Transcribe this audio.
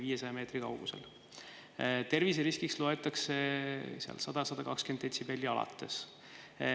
Terviseriskiks loetakse 100–120 detsibellist alates.